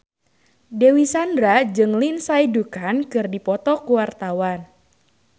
Dewi Sandra jeung Lindsay Ducan keur dipoto ku wartawan